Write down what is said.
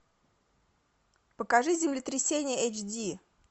покажи землетрясение эйч ди